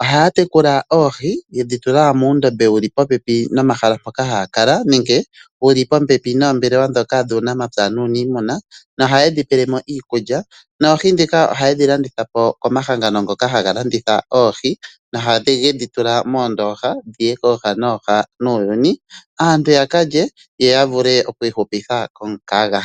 ohaya tekula oohi yedhi tula muundobe wuli popepi nomahala mpoka haya kala nenge wuli popepi noombelewa ndhoka dhuunamapya nuuniimuna ohayi dhi pele mo iikulya. Oohi ndhika ohayedhi landitha po komahangano ngoka haga landitha oohi nohayi dhi tula moondoha dhiye kooha nooha nuuyhni aantu yakalye noya vule okwiikutha omukaga.